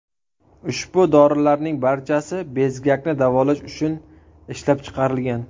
Ushbu dorilarning barchasi bezgakni davolash uchun ishlab chiqilgan.